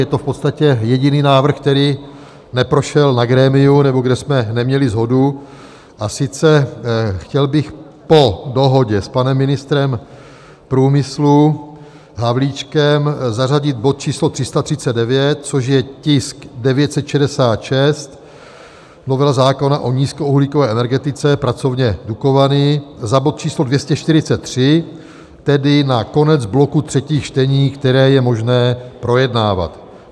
Je to v podstatě jediný návrh, který neprošel na grémiu, nebo kde jsme neměli shodu, a sice chtěl bych po dohodě s panem ministrem průmyslu Havlíčkem zařadit bod číslo 339, což je tisk 966 - Novela zákona o nízkouhlíkové energetice, pracovně Dukovany, za bod číslo 243, tedy na konec bloku třetích čtení, které je možné projednávat.